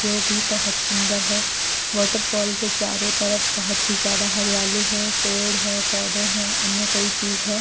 जो भी बहुत सुंदर है वॉटरफॉल के चारों तरफ बहुत ही ज्यादा हरियाली है पेड़ है पौधे हैं अन्य कई चीज है।